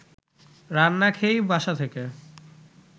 রান্না খেয়েই বাসা থেকে